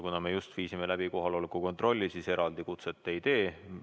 Kuna me just viisime läbi kohaloleku kontrolli, siis eraldi kutset ma ei tee.